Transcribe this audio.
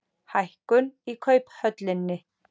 Hækkun í Kauphöllinni